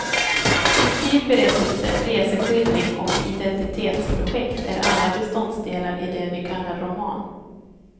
Fiktiv berättelse, reseskildring och identitetsprojekt är alla beståndsdelar i det vi kallar roman.